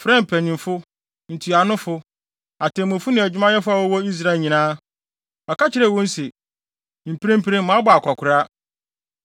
frɛɛ mpanyimfo, ntuanofo, atemmufo ne adwumayɛfo a wɔwɔ Israel nyinaa. Ɔka kyerɛɛ wɔn se, “Mprempren, mabɔ akwakoraa.